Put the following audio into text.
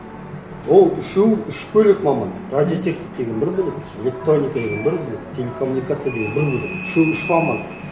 ол үшеуі үш бөлек маман радиотехник деген бір бөлек электроника деген бір бөлек телекоммуникация деген бір бөлек үшеуі үш маман